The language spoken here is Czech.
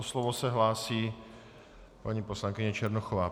O slovo se hlásí paní poslankyně Černochová.